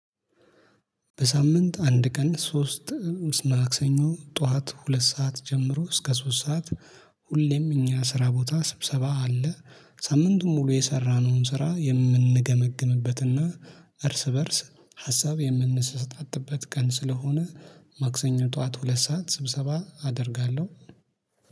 በሳምንት አንድ ቀን ሶስት ማክሰኞ ጠዋት ሁለት ሰዓት ጀምሮ እስከ ሶስት ሰዓት። ሁሌም እኛ ስራ ቦታ ስብሰባ አለ። ሳምንቱን ሙሉ የሰራነውን ስራ የምንገመግምበትና እርስ በእርስ ሀሳብ የምንሰጣጥበት ቀን ስለሆነ ማክሰኞ ጠዋት ሁለት ሰዓት ስብሰባ አደርጋለሁ